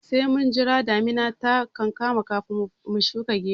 Sai mun jira damuna ta kankama kan mu shuka geron